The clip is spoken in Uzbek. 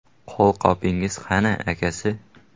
“Qo‘lqopingiz qani, akasi?